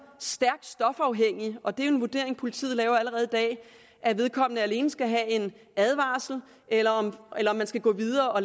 stærkt stofafhængig og det er jo en vurdering politiet laver allerede i dag at vedkommende alene skal have en advarsel eller om man skal gå videre og